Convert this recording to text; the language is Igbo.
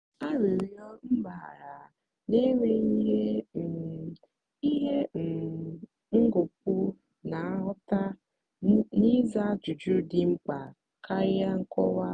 arịọrọ m gbaghara n'enweghị ihe um ihe um ngọpụ na-aghọta na ịza ajụjụ dị mkpa karịa nkọwa.